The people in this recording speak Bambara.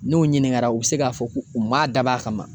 N'o ɲininkara u bɛ se k'a fɔ ko u m'a dab'a kama